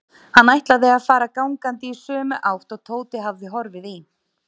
Hann ætlaði að fara gangandi í sömu átt og Tóti hafði horfið í.